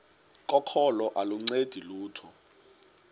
kokholo aluncedi lutho